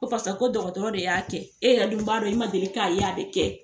ko parisa ko dɔgɔtɔrɔ de y'a kɛ e yɛrɛ dun b'a dɔn i ma deli k'a ye a be kɛ